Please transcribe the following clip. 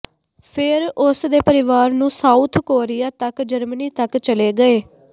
ਫਿਰ ਉਸ ਦੇ ਪਰਿਵਾਰ ਨੂੰ ਸਾਊਥ ਕੋਰੀਆ ਤੱਕ ਜਰਮਨੀ ਤੱਕ ਚਲੇ ਗਏ